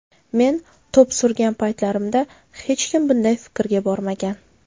Men to‘p surgan paytlarimda hech kim bunday fikrga bormagan.